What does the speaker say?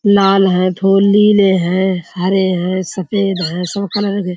लाल हैं थोर नीले हैं हरे हैं सफ़ेद हैं। सब कलर दे --